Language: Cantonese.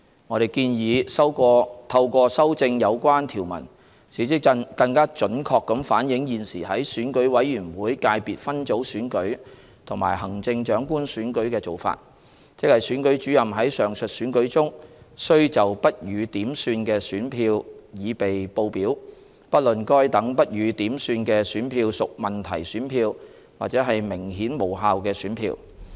我們建議透過修正有關條文，使之更準確地反映現時在選舉委員會界別分組選舉和行政長官選舉的做法，即選舉主任在上述選舉中須就不予點算的選票擬備報表，不論該等不予點算的選票屬問題選票或是明顯無效的選票。